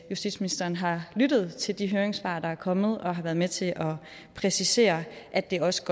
justitsministeren har lyttet til de høringssvar der er kommet og har været med til at præcisere at det også